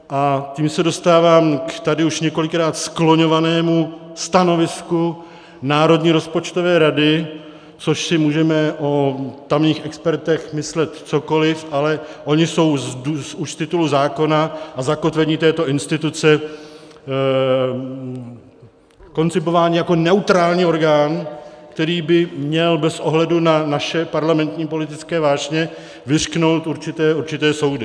A tím se dostávám k tady už několikrát skloňovanému stanovisku Národní rozpočtové rady, což si můžeme o tamních expertech myslet cokoliv, ale oni jsou už z titulu zákona a zakotvení této instituce koncipováni jako neutrální orgán, který by měl bez ohledu na naše parlamentní politické vášně vyřknout určité soudy.